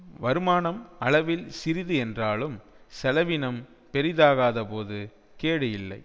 வருமானம் அளவில் சிறிது என்றாலும் செலவினம் பெரிதாகாதபோது கேடு இல்லை